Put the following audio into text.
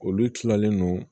Olu tilalen don